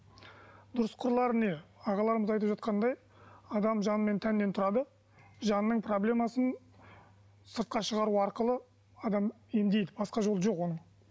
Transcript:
дұрыс қырлары не ағаларымыз айтып жатқандай адам жан мен тәннен тұрады жанның проблемасын сыртқа шығару арқылы адам емдейді басқа жолы жоқ оның